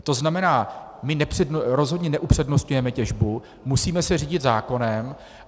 To znamená, my rozhodně neupřednostňujeme těžbu, musíme se řídit zákonem.